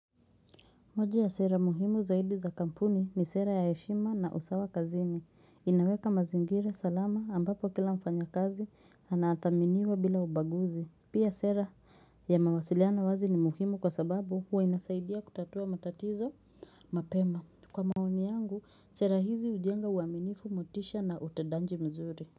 Moja ya sera muhimu zaidi za kampuni ni sera ya heshima na usawa kazini. Inaweka mazingira salama ambapo kila mfanya kazi anathaminiwa bila ubaguzi. Pia sera ya mawasiliano wazi ni muhimu kwa sababu huwa inasaidia kutatua matatizo mapema kwa maoni. Sera hizi hujenga uaminifu motisha na utedanji mzuri.